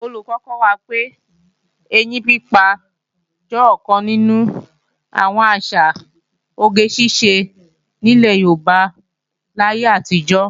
Olùkọ́ kọ́ wa pé, ẹyín pípa jẹ́ ọ̀kan nínú àwọn àṣà oge ṣíṣe nílẹ̀ Yorùbá láyé àtijọ́